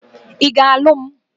I ga-alu m?